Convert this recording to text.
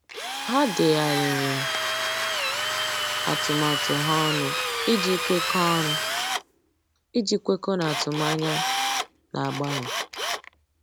Há dèghàrị̀rị̀ atụmatụ ha ọnụ iji kwekọ́ọ́ ọnụ iji kwekọ́ọ́ n’átụ́mànyá nà-ágbànwé.